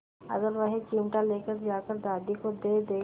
अगर वह चिमटा ले जाकर दादी को दे दे